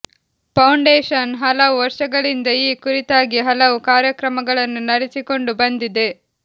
foundation ಹಲವು ವರ್ಷಗಳಿಂದ ಈ ಕುರಿತಾಗಿ ಹಲವು ಕಾರ್ಯಕ್ರಮಗಳನ್ನು ನಡೆಸಿಕೊಂಡು ಬಂದಿದೆ